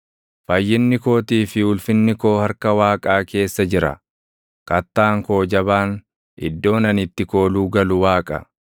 Fayyinni kootii fi ulfinni koo harka Waaqaa keessa jira; kattaan koo jabaan, iddoon ani itti kooluu galu Waaqa.